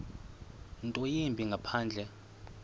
nto yimbi ngaphandle